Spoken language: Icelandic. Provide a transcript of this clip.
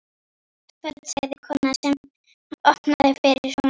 Gott kvöld sagði konan sem opnaði fyrir honum.